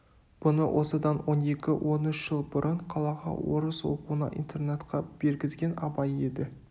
бұны осыдан он екі он үш жыл бұрын қалаға орыс оқуына интернатқа бергізген абай еді